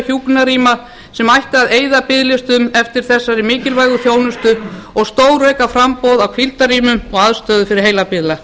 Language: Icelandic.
hjúkrunarrýma sem ætti að eyða biðlistum eftir þessari mikilvægu þjónustu og stórauka framboð á hvíldarrýmum og aðstöðu fyrir heilabilaða